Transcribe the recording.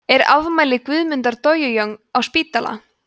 er afmæli guðmundar dojojong á spítala